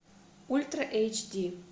ультра эйч ди